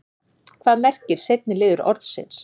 hvað merkir seinni liður orðsins